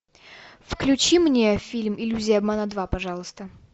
включи мне фильм иллюзия обмана два пожалуйста